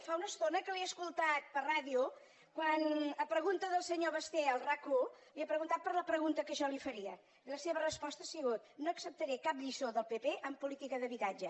fa una estona que l’he escoltat per ràdio quan a pregunta del senyor basté a rac1 li ha preguntat per la pregunta que jo li faria i la seva resposta ha sigut no acceptaré cap lliçó del pp en política d’habitatge